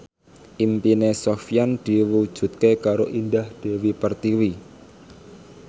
impine Sofyan diwujudke karo Indah Dewi Pertiwi